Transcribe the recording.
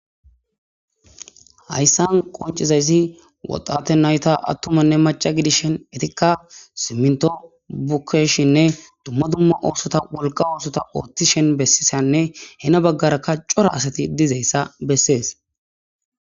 hayssan qoncizayssi woxate nayta attumanne maca gidishen etikka simnto bukayishinne dumma dumma oosota wolqa oosota ooththishen bessisanne hena baggarakka cora asati dizayssa bessees